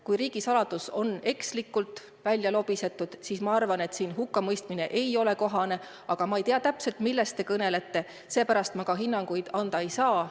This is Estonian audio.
Kui riigisaladus on ekslikult välja lobisetud, siis ma arvan, et hukkamõistmine ei ole kohane, aga ma ei tea täpselt, millest te kõnelete, seepärast ma hinnanguid anda ei saa.